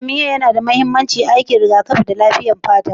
Bitamin A yana da mahimmanci ga hangen nesa, aikin rigakafi, da lafiyar fata.